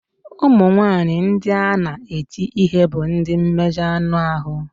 Ụmụ nwanyị ndị na-eti ihe bụ ndị mmejọ anụ ahụ.